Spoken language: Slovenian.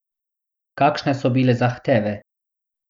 Kakšne so bile zahteve?